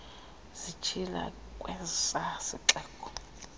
zitshila kwesa sixeko